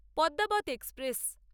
Padmaavat express